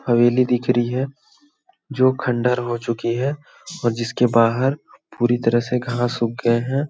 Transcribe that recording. हवेली दिख रही है जो खंडर हो चुकी है और जिसके बाहर पूरी तरह से घास सूख गए हैं।